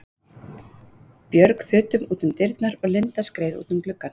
Björg þutum út um dyrnar og Linda skreið út um gluggann.